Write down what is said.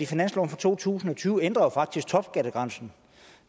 finansloven for to tusind og tyve ændrer faktisk topskattegrænsen